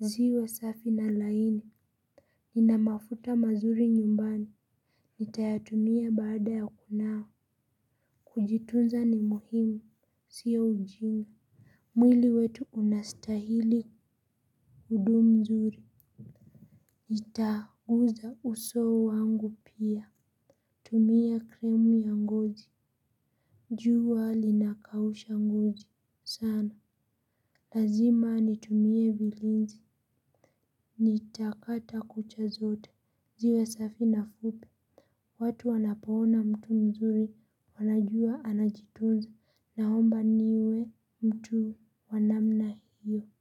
Ziwe safi na laini. Nina mafuta mazuri nyumbani. Nitayatumia baada ya kunawa. Kujitunza ni muhimu. Sio ujinga. Mwili wetu unastahili kudumu mzuri. Itaguza uso wangu pia. Tumia krimu ya ngozi. Jua linakausha ngozi, sana. Lazima nitumie vilinzi. Nitakata kucha zote, ziwe safi na fupi. Watu wanapoona mtu mzuri, wanajua anajitunza, naomba niwe mtu wa namna hiyo.